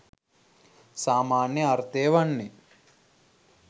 සාමාන්‍ය අර්ථය වන්නේ